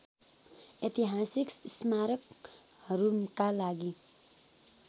ऐतिहासिक स्मारकहरुका लागि